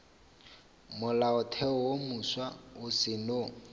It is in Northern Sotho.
molaotheo wo mofsa o seno